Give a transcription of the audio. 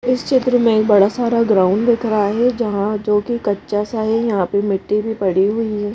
इस चित्र में बड़ा सारा ग्राउंड दिख रहा है जहाँ जोकि कच्चा सा है यहाँ पे मिट्टी भी पड़ी हुई है।